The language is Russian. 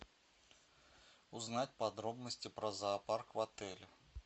узнать подробности про зоопарк в отеле